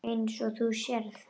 Eins og þú sérð.